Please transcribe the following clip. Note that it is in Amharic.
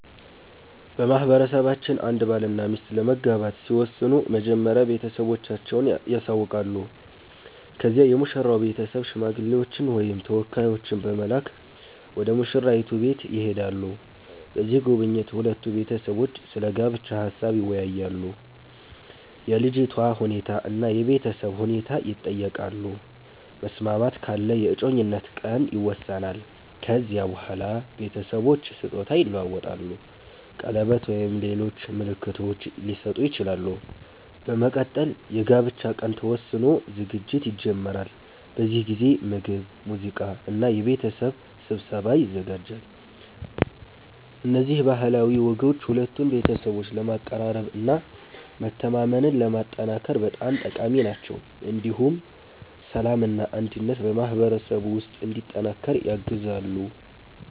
በማህበረሰባችን አንድ ባልና ሚስት ለመጋባት ሲወስኑ መጀመሪያ ቤተሰቦቻቸውን ያሳውቃሉ። ከዚያ የሙሽራው ቤተሰብ ሽማግሌዎችን ወይም ተወካዮችን በመላክ ወደ ሙሽራይቱ ቤት ይሄዳሉ። በዚህ ጉብኝት ሁለቱ ቤተሰቦች ስለ ጋብቻ ሀሳብ ይወያያሉ፣ የልጅቷ ሁኔታ እና የቤተሰብ ሁኔታ ይጠየቃሉ። መስማማት ካለ የእጮኝነት ቀን ይወሰናል። ከዚያ በኋላ ቤተሰቦች ስጦታ ይለዋወጣሉ፣ ቀለበት ወይም ሌሎች ምልክቶች ሊሰጡ ይችላሉ። በመቀጠል የጋብቻ ቀን ተወስኖ ዝግጅት ይጀመራል። በዚህ ጊዜ ምግብ፣ ሙዚቃ እና የቤተሰብ ስብሰባ ይዘጋጃል። እነዚህ ባህላዊ ወጎች ሁለቱን ቤተሰቦች ለማቀራረብ እና መተማመንን ለማጠናከር በጣም ጠቃሚ ናቸው። እንዲሁም ሰላምና አንድነት በማህበረሰቡ ውስጥ እንዲጠናከር ያግዛሉ።